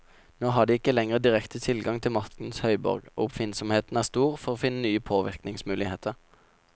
Nå har de ikke lenger direkte adgang til maktens høyborg, og oppfinnsomheten er stor for å finne nye påvirkningsmuligheter.